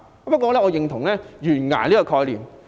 不過，我認同"懸崖"這個概念。